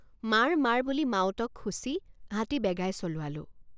মাৰ মাৰ বুলি মাউতক খুচি হাতী বেগাই চলোৱালোঁ।